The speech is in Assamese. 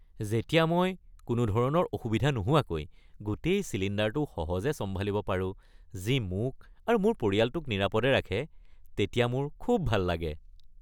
যেতিয়া মই কোনো ধৰণৰ অসুবিধা নোহোৱাকৈ গোটেই চিলিণ্ডাৰটো সহজে চম্ভালিব পাৰোঁ যি মোক আৰু মোৰ পৰিয়ালটোক নিৰাপদে ৰাখে তেতিয়া মোৰ খুব ভাল লাগে।